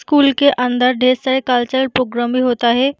School के अंदर ढेर सारे कल्चर पोग्राम भी होता है।